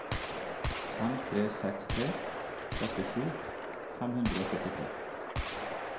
fem tre seks tre trettisju fem hundre og førtitre